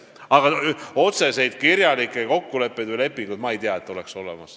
Aga otseseid kirjalikke kokkuleppeid minu teada ei ole.